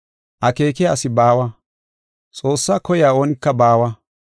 Akeekiya asi baawa, Xoossaa koyiya oonika baawa.